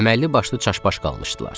Əməlli başlı çaşbaş qalmışdılar.